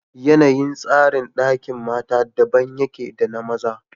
yanayin tsarin Ɗakin mata daban yake da na maza